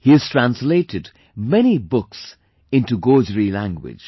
He has translated many books into Gojri language